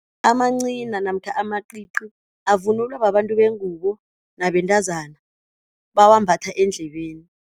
Amancina namkha amacici avunulwa babantu bengubo nabentazana bawambatha eendlebeni.